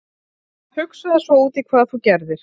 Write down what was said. Hugsaðu svo úti hvað þú gerðir??